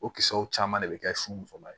O kisɛw caman de bɛ kɛ sun musoma ye